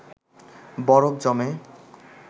বরফ জমে